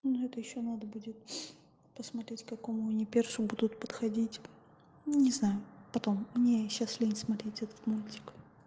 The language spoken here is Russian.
ну это ещё надо будет посмотреть какому они персу будут подходить не знаю потом мне сейчас лень смотреть этот мультик